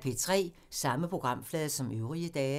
Samme programflade som øvrige dage